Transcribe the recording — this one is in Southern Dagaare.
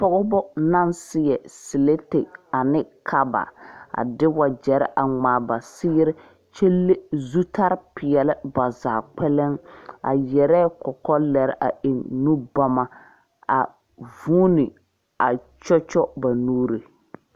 Pɔgeba naŋ seɛ selete ane kaba a de wagyɛre a ŋmaa ba seere kyɛ le zutalipeɛle ba zaa kpɛlɛŋ a yɛrɛ kɔkɔlɛre a eŋ nubɔma a vuuni a kyɔkyɔ ba nuuri.